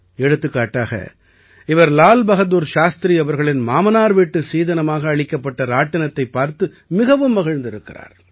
எடுத்துக்காட்டாக இவர் லால் பஹாதுர் சாஸ்திரி அவர்களின் மாமனார் வீட்டு சீதனமாக அளிக்கப்பட்ட ராட்டினத்தைப் பார்த்து மிகவும் மகிழ்ந்திருக்கிறார்